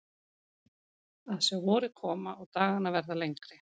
Að sjá vorið koma og dagana verða lengri.